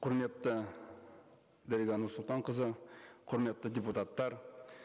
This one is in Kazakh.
құрметті дариға нұрсұлтанқызы құрметті депутаттар